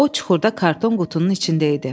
O çuxurda karton qutunun içində idi.